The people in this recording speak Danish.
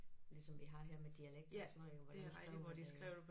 Ligesom vi har her med dialekter og sådan noget ik og hvordan skriver de